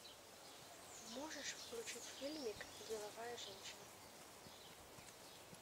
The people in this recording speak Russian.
можешь включить фильмик деловая женщина